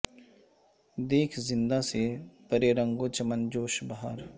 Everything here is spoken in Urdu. دیکھ زنداں سے پرے رنگ و چمن جوش بہار